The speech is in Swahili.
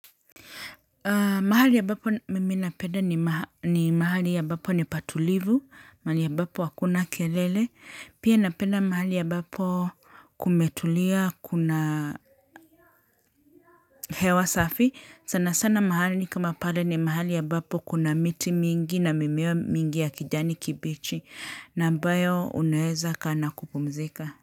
Mahali ambapo mimi na penda ni mahali ambapo ni patulivu. Mahali ambapo hakuna kelele. Pia napeda mahali ambapo kumetulia kuna hewa safi. Sana sana mahali kama pale ni mahali ambapo kuna miti mingi na mimea mingi ya kijani kibichi. Na ambayo uneweza kaa na kupumzika.